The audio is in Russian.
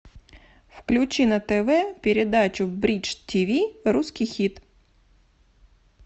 включи на тв передачу бридж тиви русский хит